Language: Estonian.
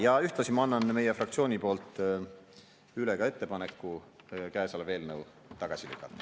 Ja ühtlasi ma annan meie fraktsiooni poolt üle ettepaneku käesolev eelnõu tagasi lükata.